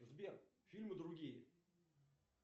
сбер фильмы другие